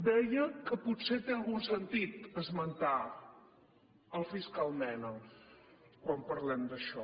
deia que potser té algun sentit esmentar el fiscal mena quan parlem d’això